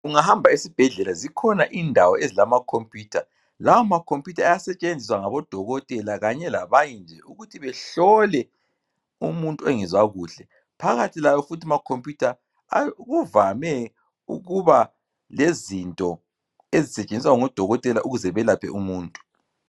Ungahamba esibhedlela zikhona indawo ezilama computer. Lawa ma computer aya setshenziswa ngabodokotela kanye labanye nje ukuthi behlole umuntu ongezwa kuhle. Phakathi kwawo futhi ma computer kuvame ukuba lezinto ezisetshenziswa ngodokotela ukuze belaphe umuntu.